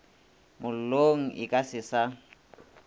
mollong e ka se sa